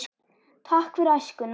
Takk fyrir æskuna.